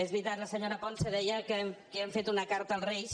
és veritat la senyora ponsa deia que hem fet una carta als reis